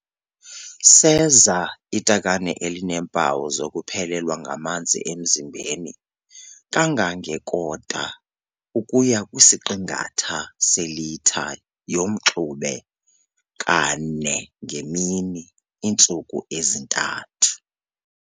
Seza itakane elineempawu zokuphelelwa ngamanzi emzimbeni kangenge-¼ ukuya kwisi-½ selitha yomxube ka-4 ngemini iintsuku ezi-3.